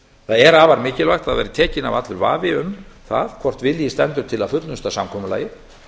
það er afar mikilvægt að tekinn verði af allur vafi um það hvort vilji stendur til að fullnusta samkomulagið